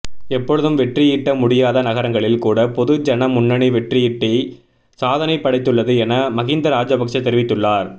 எப்பொழுதும் வெற்றியீட்ட முடியாத நகரங்களில் கூட பொதுஜன முன்னணி வெற்றியீட்டி சாதனை படைத்துள்ளது என மஹிந்த ராஜபக்ச தெரிவித்துள்ளார்